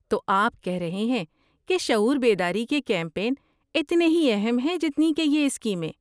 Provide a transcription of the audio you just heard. تو آپ کہہ رہے ہیں کہ شعور بیداری کے کیمپین اتنے ہی اہم ہیں جتنی کہ یہ اسکیمیں۔